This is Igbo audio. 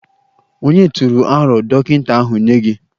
Ònye tụrụ aro dọkịta ahụ nye gị?